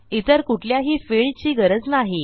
इतर कुठल्याही फिल्डची गरज नाही